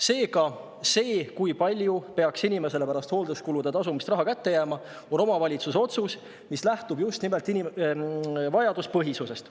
Seega see, kui palju peaks inimesele pärast hoolduskulude tasumist raha kätte jääma, on omavalitsuse otsus, mis lähtub just nimelt vajaduspõhisusest.